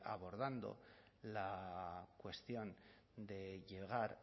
abordando la cuestión de llegar